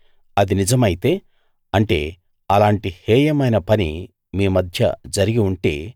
అది నిజమైతే అంటే అలాంటి హేయమైన పని మీ మధ్య జరిగి ఉంటే